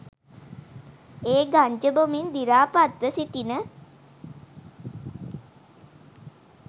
ඒ ගංජා බොමින් දිරාපත්ව සිටින